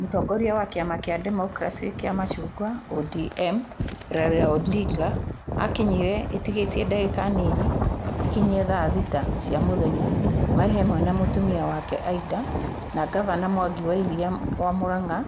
Mũtongoria wa kĩama kĩa demokiraci kia macungwa (ODM) Raila Odinga akinyire ĩtigĩtitie dagĩka nini ĩkinye ya thaa thita cia muthenya marĩ hamwe na mũtumia wake ĩda na ngavana Mwangi Wa ĩria (Murang'a)